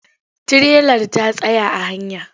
Tirelar ta tsaya a hanya.